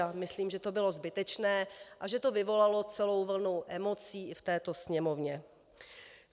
A myslím, že to bylo zbytečné a že to vyvolalo celou vlnu emocí i v této Sněmovně.